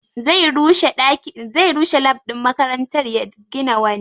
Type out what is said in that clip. Zai rushe lab ɗin makarantar ya gina wani.